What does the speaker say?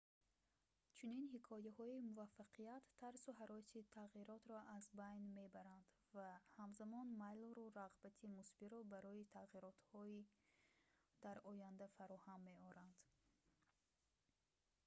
чунин ҳикояҳои муваффақият тарсу ҳароси тағйиротро аз байн мебаранд ва ҳамзамон майлу рағбати мусбиро барои тағиротҳо дар оянда фароҳам меоранд